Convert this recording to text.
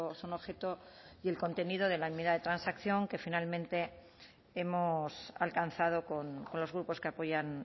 son objeto y el contenido de la mitad de transacción que finalmente hemos alcanzado con los grupos que apoyan